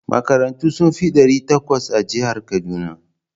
Makarantu sun fi ɗari takwas a jihar Kaduna.